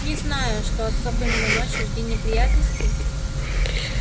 не знаю что от сов именно ночью жди неприятностей